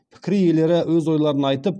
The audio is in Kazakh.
пікір иелері өз ойларын айтып